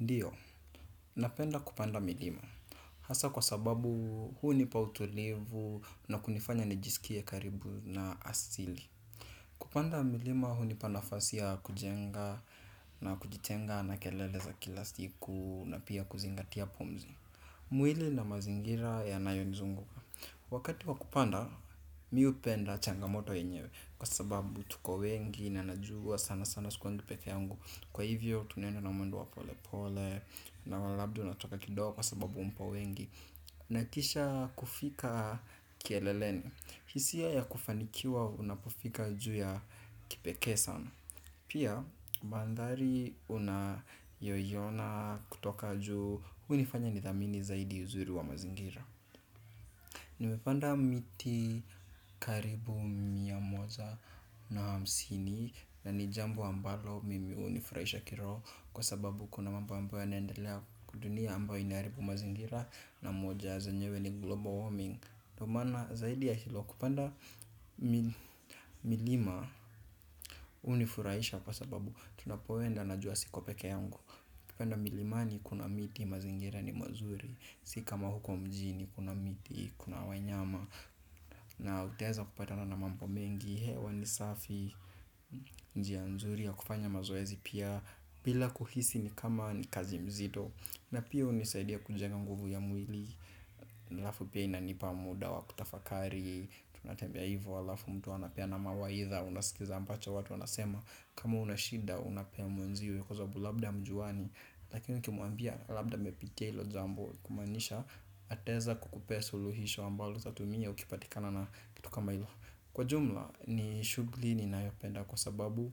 Ndio, napenda kupanda milima, hasa kwa sababu huu nipa utulivu na kunifanya nijisikie karibu na asili. Kupanda milima hunipa nafasi ya kujenga na kujitenga na kelele za kila siku na pia kuzingatia pumzi. Mwili na mazingira ya nayonizunguka wakati wa kupanda, mimi hupenda changamoto yenyewe. Kwa sababu tuko wengi na najua sana sana sikuangi pekee yangu. Kwa hivyo tunenda na mwendo wa polepole na wa labda unachoka kidogo kwa sababu mpo wengi. Nahakisha kufika kieleleni. Hisia ya kufanikiwa unapofika juu ya kipekee sana. Pia mandhari unayoiona kutoka juu hunifanya nithamini zaidi uzuri wa mazingira. Nimepanda miti karibu mia moja na hamsini. Na ni jambo ambalo mimi hunifurahisha kiroho. Kwa sababu kuna mambo amboyo yanendelea huku dunia amboyo inaharibu mazingira na moja zenyewe ni global warming ndio maana zaidi ya hilo kupanda milima hunifurahisha. Kwa sababu tunapoenda na jua siko pekee yangu. Kupanda milimani kuna miti mazingira ni mazuri. Si kama huko mjini kuna miti kuna wanyama. Na utaeza kupatana na mambo mengi. Hewa ni safi. Njia nzuri ya kufanya mazoezi pia bila kuhisi ni kama ni kazi mzito. Na pia hunisaidia kunjenga nguvu ya mwili halafu pia inanipa muda wa kutafakari. Tunatembea hivo halafu mtu anapeana mawaidha. Unasikiza ambacho watu wanasema. Kama unashida unapea mwenzio. Kwa sababu labda hamjuani. Lakini ukimwambia labda amepitia hilo jambo. Kumaanisha ataeza kukupea suluhisho ambalo utatumia ukipatikana na kitu kama hilo. Kwa jumla ni shughuli ni nayopenda kwa sababu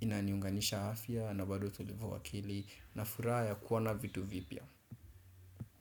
inaniunganisha afya na bado utulivu wa akili na furaha ya kuona vitu vipya.